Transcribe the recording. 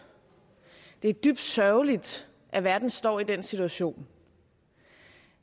det er dybt sørgeligt at verden står i den situation